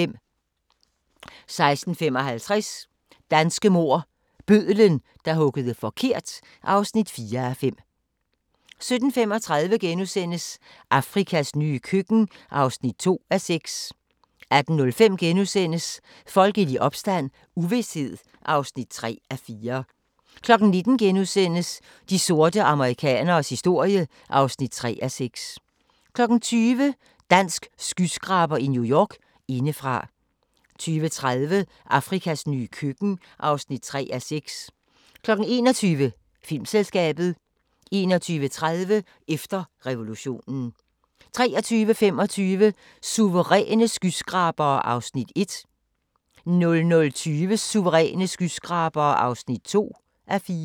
16:55: Danske mord - Bødlen, der huggede forkert (4:5) 17:35: Afrikas nye køkken (2:6)* 18:05: Folkelig opstand - uvished (3:4)* 19:00: De sorte amerikaneres historie (3:6)* 20:00: Dansk skyskraber i New York – Indefra 20:30: Afrikas nye køkken (3:6) 21:00: Filmselskabet 21:30: Efter revolutionen 23:25: Suveræne skyskrabere (1:4) 00:20: Suveræne skyskrabere (2:4)